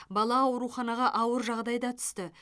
бала ауруханаға ауыр жағдайда түсті